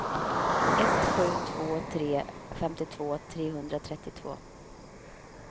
ett sju två tre femtiotvå trehundratrettiotvå